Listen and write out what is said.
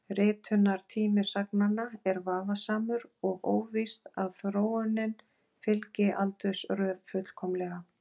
Ritunartími sagnanna er vafasamur og óvíst að þróunin fylgi aldursröð fullkomlega.